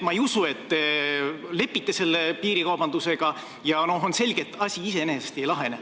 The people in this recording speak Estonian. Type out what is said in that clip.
Ma ei usu, et te lepite selle piirikaubandusega, ja on selge, et asi iseenesest ei lahene.